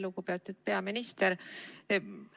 Lugupeetud peaminister!